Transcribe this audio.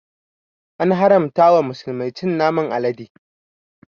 An haramta wa musulmai cin naman alade